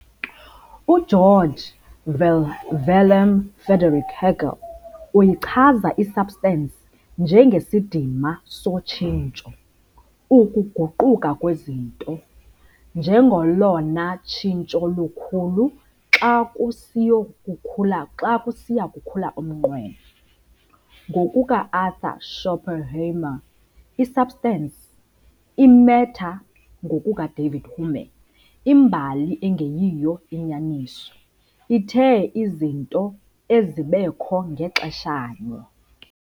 U-Georg Wilhelm Friedrich Hegel uyichaza i-substance njengesidima sotshintsho, ukuguquka kwezinto, njengolona "tshintsho lukhulu xa kusiya kukhula umnqweno.". Ngokuka-Arthur Schopenhauer i-substance - i-matter ngokukaDavid Hume - imbali engeyiyo inyaniso, ithe izinto ezibekho ngaxesha nye.